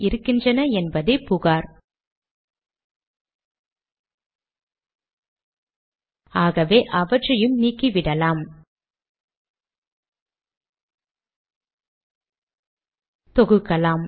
signature பற்றி பேசியிருக்கிறோம்